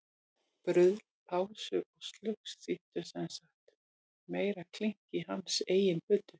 Bruðl, pásur og slugs þýddu sem sagt meira klink í hans eigin buddu.